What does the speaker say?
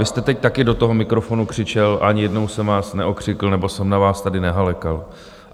Vy jste teď taky do toho mikrofonu křičel, ani jednou jsem vás neokřikl nebo jsem na vás tady nehalekal.